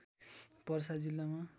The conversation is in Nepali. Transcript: पर्सा जिल्लामा